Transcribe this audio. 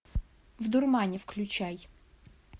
в дурмане включай